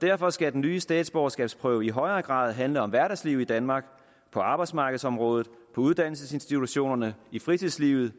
derfor skal den nye statsborgerskabsprøve i højere grad handle om hverdagslivet i danmark på arbejdsmarkedsområdet på uddannelsesinstitutionerne i fritidslivet